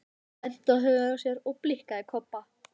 Hann benti á höfuðið á sér og blikkaði Kobba.